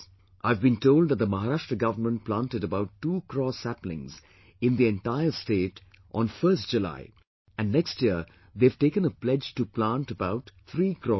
I have been told that the Maharashtra government planted about 2 crores sapling in the entire state on 1st July and next year they have taken a pledge to plant about 3 crores trees